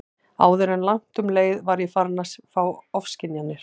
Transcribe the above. Áður en langt um leið var ég farin að fá ofskynjanir.